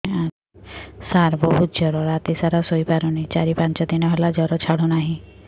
ସାର ବହୁତ ଜର ରାତି ସାରା ଶୋଇପାରୁନି ଚାରି ପାଞ୍ଚ ଦିନ ହେଲା ଜର ଛାଡ଼ୁ ନାହିଁ